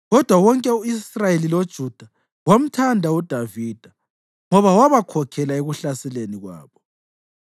Kodwa wonke u-Israyeli loJuda wamthanda uDavida, ngoba wabakhokhela ekuhlaseleni kwabo.